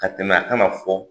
Ka tɛmɛ a ka na fɔ